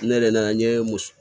Ne yɛrɛ nana n ye muso